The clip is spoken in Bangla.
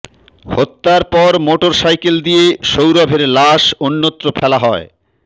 হত্যার পর মোটরসাইকেল দিয়ে সৌরভের লাশ অন্যত্র ফেলা হয়